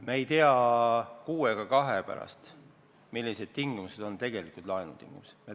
Me ei tea kuu ega kahe pärast, millised on tegelikult laenutingimused.